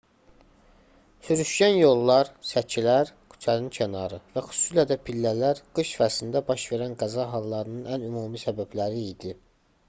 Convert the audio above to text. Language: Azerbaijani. sürüşkən yollar səkilər küçənin kənarı və xüsusilə də pillələr qış fəslində baş verən qəza hallarının ən ümumi səbəbləri idi